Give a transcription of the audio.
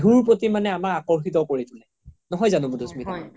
বিহুৰ প্ৰতি মানে আমাক আকাৰ্শিত কৰি তুলে নহয় জানো মাধুস্মিতা ?